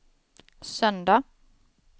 söndag